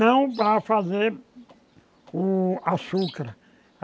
Não para fazer o açúcar.